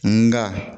Nga